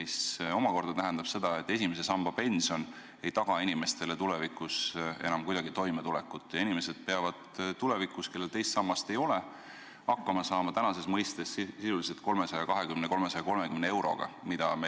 See omakorda tähendab seda, et esimese samba pension ei taga inimestele tulevikus enam kuidagi toimetulekut ja need, kellel teist sammast ei ole, peavad tulevikus hakkama saama tänases mõistes 320–330 euroga.